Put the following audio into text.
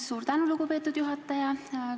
Suur tänu, lugupeetud juhataja!